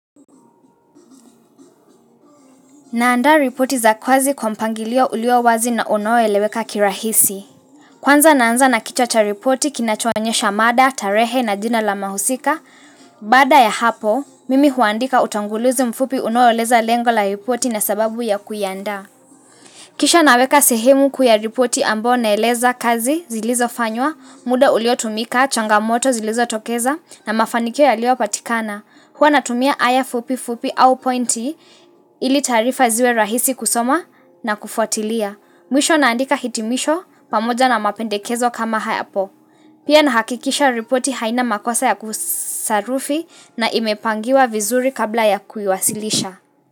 Naanda ripoti za kazi kwa mpangilio ulio wazi na unoeleweka kirahisi. Kwanza naanza na kichwa cha ripoti kinachoonyesha mada, tarehe na jina la mahusika. Baada ya hapo, mimi huandika utangulizi mfupi unaoeleza lengo la ripoti na sababu ya kuiandaa. Kisha naweka sehemu kuu ya ripoti ambao naeleza kazi zilizofanywa, muda uliotumika, changamoto zilizotokeza na mafanikio yaliopatikana. Huwa natumia aya fupi fupi au pointi ili taarifa ziwe rahisi kusoma na kufuatilia. Mwisho naandika hitimisho pamoja na mapendekezo kama hayapo. Pia nahakikisha ripoti haina makosa ya kusarufi na imepangiwa vizuri kabla ya kuiwasilisha.